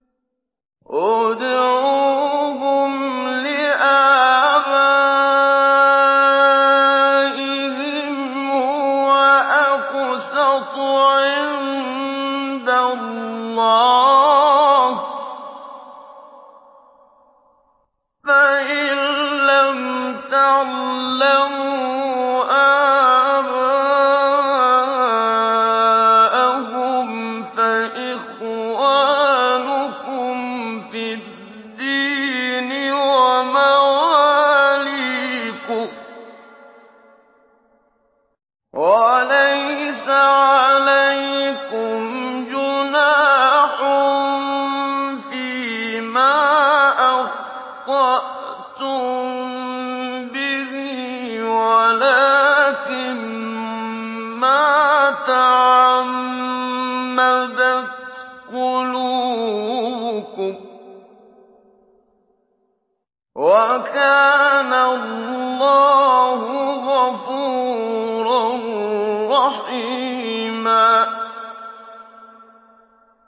ادْعُوهُمْ لِآبَائِهِمْ هُوَ أَقْسَطُ عِندَ اللَّهِ ۚ فَإِن لَّمْ تَعْلَمُوا آبَاءَهُمْ فَإِخْوَانُكُمْ فِي الدِّينِ وَمَوَالِيكُمْ ۚ وَلَيْسَ عَلَيْكُمْ جُنَاحٌ فِيمَا أَخْطَأْتُم بِهِ وَلَٰكِن مَّا تَعَمَّدَتْ قُلُوبُكُمْ ۚ وَكَانَ اللَّهُ غَفُورًا رَّحِيمًا